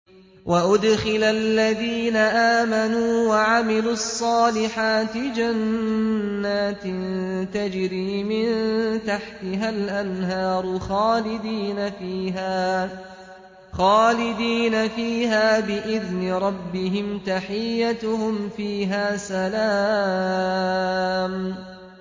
وَأُدْخِلَ الَّذِينَ آمَنُوا وَعَمِلُوا الصَّالِحَاتِ جَنَّاتٍ تَجْرِي مِن تَحْتِهَا الْأَنْهَارُ خَالِدِينَ فِيهَا بِإِذْنِ رَبِّهِمْ ۖ تَحِيَّتُهُمْ فِيهَا سَلَامٌ